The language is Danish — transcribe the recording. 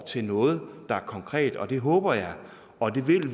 til noget der er konkret og det håber jeg og